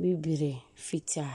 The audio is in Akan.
bibire, fitaa.